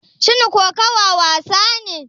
Shin kokawa wasa ne?